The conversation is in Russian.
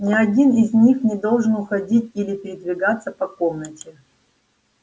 ни один из них не должен уходить или передвигаться по комнате